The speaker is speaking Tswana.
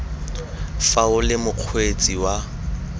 fa o le mokgweetsi wa